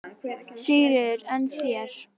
Sigríður: En þér?